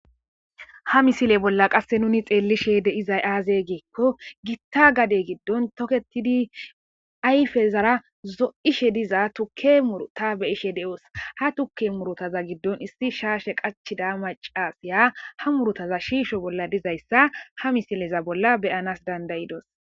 ha misile bolla qasse nuni xeellishe de7izay aaze giikko gitta gade giddon toketidi ayfe zara zo7ishe diza tukke murta be ishe de7os ha tuke murotaza giddon issi shaashe qachida macasiya ha murotaza shiisho bolla dizayssa ha misileza bolla beyanas dandayidos